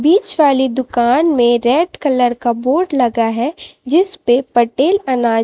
बीच वाली दुकान में रेड कलर का बोर्ड लगा है जिसपे पटेल अना--